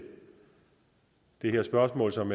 det her spørgsmål som